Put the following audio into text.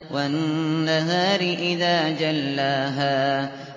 وَالنَّهَارِ إِذَا جَلَّاهَا